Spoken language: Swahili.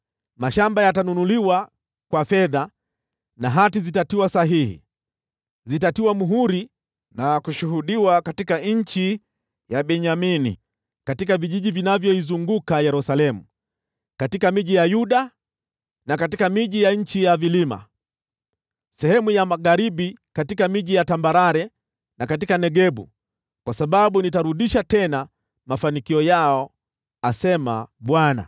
Mashamba yatanunuliwa kwa fedha, na hati zitatiwa sahihi, zitatiwa muhuri na kushuhudiwa katika nchi ya Benyamini, katika vijiji vinavyoizunguka Yerusalemu, katika miji ya Yuda na katika miji ya nchi ya vilima, sehemu za magharibi katika miji ya tambarare na katika Negebu, kwa sababu nitarudisha tena mafanikio yao, asema Bwana .”